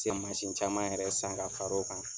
Cɛ mansin caman yɛrɛ san ka far'o kan